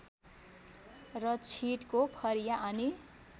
र छिटको फरिया अनि